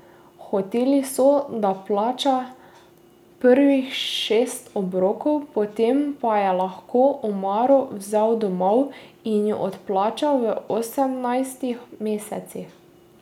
Hoteli so, da plača prvih šest obrokov, potem pa je lahko omaro vzel domov in jo odplačal v osemnajstih mesecih.